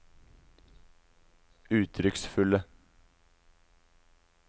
uttrykksfulle